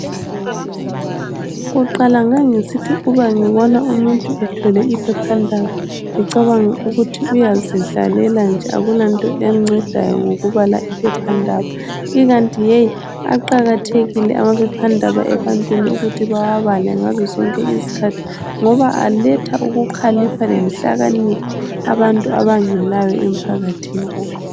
Kuqala ngangisithi uma ngibona umuntu ethwele iphephandaba ngicabange ukuthi uyazidlalela nje akulanto emncedayo ngokubala iphephandaba ikanti ke aqakathekile amaphephandaba ebantwini ukuthi bawabale ngazozonke izikhathi ngoba aletha ukukhalipha lenhlakanipho abantu abangelayo emphakathini.